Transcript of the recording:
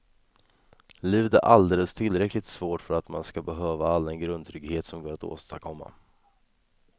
Livet är alldeles tillräckligt svårt för att man ska behöva all den grundtrygghet som går att åstadkomma.